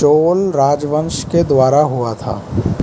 चोल राजवंश के द्वारा हुआ था।